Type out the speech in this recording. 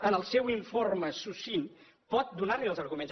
en el seu informe succint pot donar li els arguments